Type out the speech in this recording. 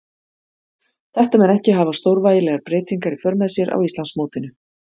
Þetta mun ekki hafa stórvægilegar breytingar í för með sér á Íslandsmótinu.